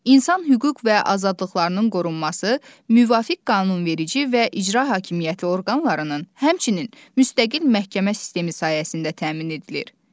İnsan hüquq və azadlıqlarının qorunması müvafiq qanunverici və icra hakimiyyəti orqanlarının, həmçinin müstəqil məhkəmə sistemi sayəsində təmin edilir.